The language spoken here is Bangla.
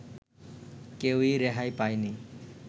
কেউই রেহাই পায়নি